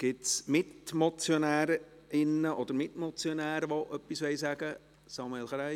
Gibt es Mitmotionärinnen oder Mitmotionäre, die etwas sagen möchten?